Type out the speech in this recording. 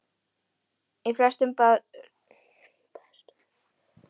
Í flestum baðstofum var fjalagólf og holt undir rúmin.